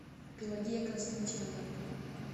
пелагея константиновна